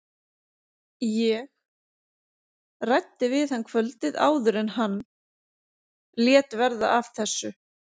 Ég. ræddi við hann kvöldið áður en hann. lét verða af þessu.